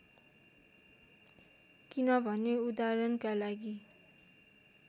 किनभने उदाहरणका लागि